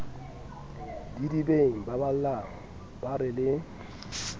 didibeng babalang ba re le